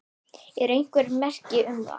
Eru einhver merki um það?